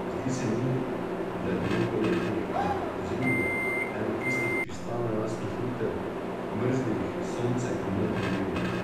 Zdi se mi, da je bilo poleti, ali pa pozimi, eno tistih kristalno jasnih juter, mrzlih, s soncem in modrim nebom.